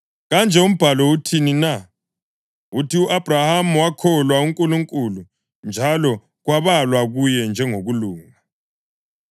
Kanje umbhalo uthini na? Uthi, “U-Abhrahama wakholwa uNkulunkulu, njalo kwabalwa kuye njengokulunga.” + 4.3 UGenesisi 15.6